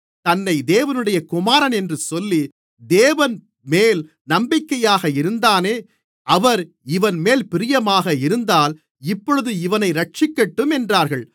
தன்னைத் தேவனுடைய குமாரன் என்று சொல்லி தேவன்மேல் நம்பிக்கையாக இருந்தானே அவர் இவன்மேல் பிரியமாக இருந்தால் இப்பொழுது இவனை இரட்சிக்கட்டும் என்றார்கள்